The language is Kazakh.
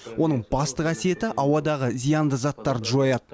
оның басты қасиеті ауадағы зиянды заттарды жояды